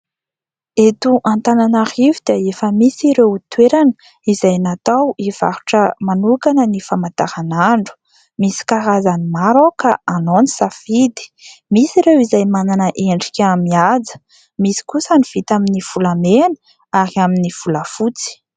eto antananarivo dia efa misy ireo toerana izay natao hivarotra manokana ny famantaran'andro misy karazany maro ka anao ny safidy, misy ireo izay manana endrika amin kaja, misy kosa ny vita amin'ny volamena ary amin'ny volafotsy